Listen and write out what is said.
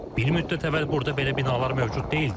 Bir müddət əvvəl burada belə binalar mövcud deyildi.